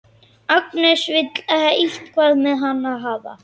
Agnes vill eitthvað með hann hafa.